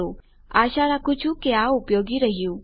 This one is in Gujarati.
હું આશા રાખું છું કે આ ઉપયોગી રહ્યું